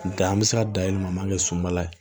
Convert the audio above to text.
Nga an mi se ka dayɛlɛma an m'a kɛ sunbala ye